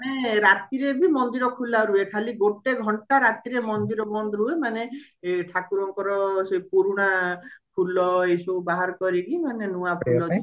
ମାନେ ରାତିରେ ବି ମନ୍ଦିର ଖୋଲା ରୁହେ ଖାଲି ଗୋଟେ ଘଣ୍ଟା ରାତିରେ ମନ୍ଦିର ବନ୍ଦ ରୁହେ ମାନେ ଠାକୁରଙ୍କର ସେଇ ପୁରୁଣା ଫୁଲ ମାନେ ଏଇସବୁ ବାହାର କରିକି